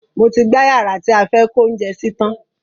Mo ti gbá yàrá tí a fẹ́ kó oúnjẹ sí tan